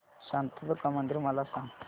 शांतादुर्गा मंदिर मला सांग